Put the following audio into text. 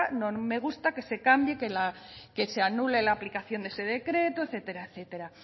no me gusta que se cambie que se anule la aplicación de ese decreto etcétera etcétera